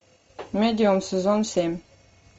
медиум сезон семь